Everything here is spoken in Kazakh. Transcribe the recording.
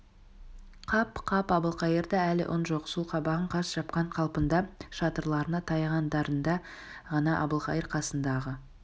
қап қап әбілқайырда әлі үн жоқ сол қабағын қарс жапқан қалпында шатырларына таяғандарында ғана әбілқайыр қасындағы